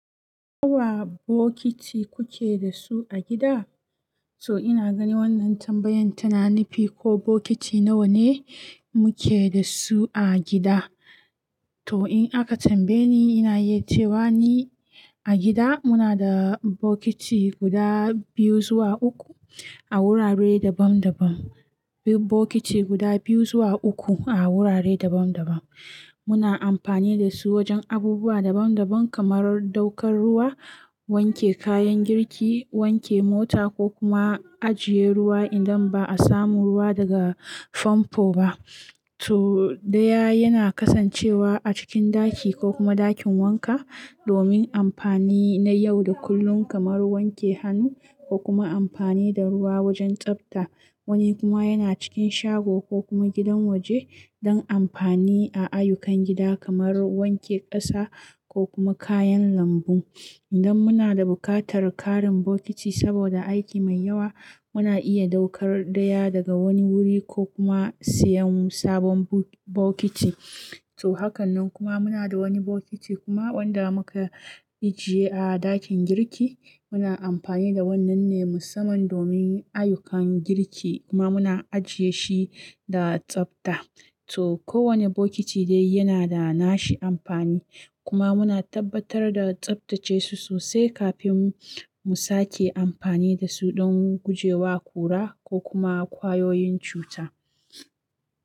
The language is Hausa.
Nawa bokiti kuke da su a gida? To ina gani wannan tambayan tana nufi ko bokiti nawa ne muke da su a gida. To in aka tambaye ni, ina iya cewa ni a gida muna da bokiti guda biyu zuwa uku a wurare daban-daban. Bokiti guda biyu zuwa uku a wurare daban-daban. Muna amfani da su wajen abubuwa daban-daban kamar ɗaukar ruwa, wanke kayan girki, wanke mota ko kuma ajiye ruwa idan ba a samu ruwa daga famfo ba. To ɗaya yana kasancewa a cikin ɗaki ko kuma ɗakin wanka domin amfani na yau da kullun kamar wanke hannu ko kuma amfani da ruwa wajen tsabta. Wani kuma yana cikin shago ko kuma gidan waje don amfani a ayyukan gida kamar wanke ƙasa ko kuma kayan lambu. Indan muna da buƙatar ƙarin bokiti saboda aiki mai yawa, muna iya ɗaukar ɗaya daga wani wuri ko kuma siyan sabon bo-bokiti. To hakanan kuma muna da wani bokiti kuma wanda muka ajiye a ɗakin girki. Muna amfani da wannan ne musamman domin ayyukan girki kuma muna ajiye shi da tsabta. To kowane bokiti dai yana da nashi amfani kuma muna tabbatar da tsabtace su sosai kafin mu sake amfani da su don guje wa kura ko kuma ƙwayoyin cuta.